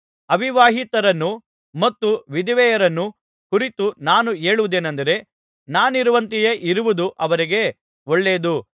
ಅವಿವಾಹಿತರನ್ನೂ ಮತ್ತು ವಿಧವೆಯರನ್ನೂ ಕುರಿತು ನಾನು ಹೇಳುವುದೇನಂದರೆ ನಾನಿರುವಂತೆಯೆ ಇರುವುದು ಅವರಿಗೆ ಒಳ್ಳೆಯದು